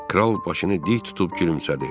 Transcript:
Kral başını dik tutub gülümsədi.